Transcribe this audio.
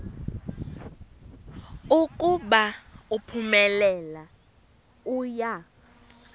ukuba uphumelele uya